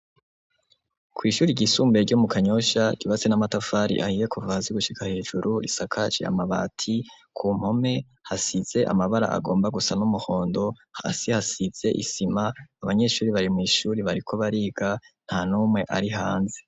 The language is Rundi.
Kw' ishure ryisumbuye ryo mu Kanyosha ryubakitse n' amatafari ahiye kuva hasi gushika hejuru risakaje amabati, ku mpome hasize amabara agomba gusa n' umuhondo, hasi hasize isima, abanyeshure bari mw' ishure bariko bariga, ntanumwe ari hanze.